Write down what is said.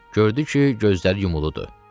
Gördü ki, gözləri yumuludur.